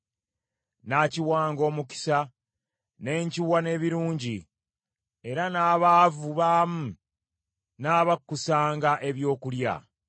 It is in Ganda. Nnaakiwanga omukisa ne nkiwa n’ebirungi, era n’abaavu baamu nnaabakkusanga ebyokulya.